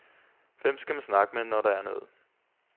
Hvem skal man snakke med, når der er noget?